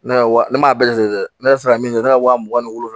Ne wa ne m'a bɛɛ lajɛ ne sera min ye ne ka wa mugan ni wolonwula ye